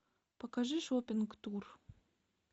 покажи шоппинг тур